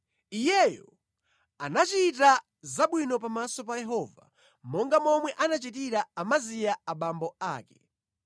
Iyeyo anachita zabwino pamaso pa Yehova, monga momwe anachitira Amaziya abambo ake.